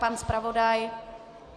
Pan zpravodaj?